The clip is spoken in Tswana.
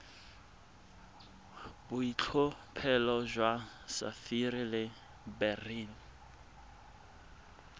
boitlhophelo jwa sapphire le beryl